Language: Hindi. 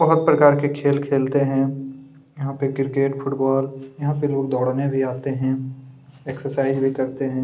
बहुत प्रकार के खेल खेलते हैं यहाँ पे क्रिकेट फुटबॉल यहाँ पे लोग दौड़ने भी आते हैं एक्सरसाइज भी करते हैं।